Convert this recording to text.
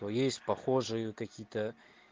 то есть похожие какие-то